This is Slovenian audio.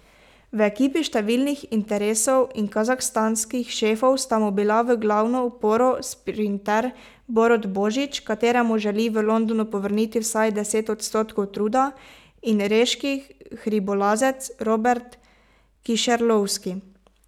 V ekipi številnih interesov in kazahstanskih šefov sta mu bila v glavno oporo sprinter Borut Božič, kateremu želi v Londonu povrniti vsaj deset odstotkov truda, in reški hribolazec Robert Kišerlovski.